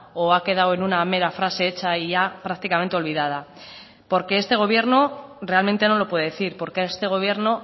o ha quedado en una mera frase hecha y ya prácticamente olvidada porque este gobierno realmente no lo puede decir porque este gobierno